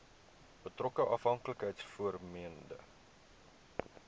betrokke afhanklikheids vormende